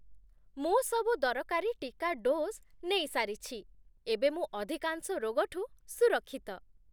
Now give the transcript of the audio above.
ମୁଁ ସବୁ ଦରକାରୀ ଟିକା ଡୋଜ୍ ନେଇସାରିଛି । ଏବେ ମୁଁ ଅଧିକାଂଶ ରୋଗଠୁ ସୁରକ୍ଷିତ ।